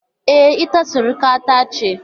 E, ita surukata ce.